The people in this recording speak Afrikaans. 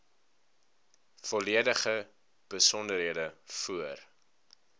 volledige besonderhede voor